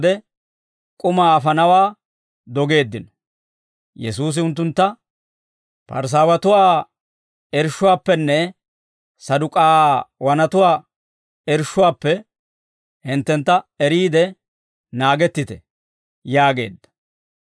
Yesuusi unttuntta, «Parisaawatuwaa irshshuwaappenne Saduk'aawanatuwaa irshshuwaappe hinttentta eriide naagettite» yaageedda.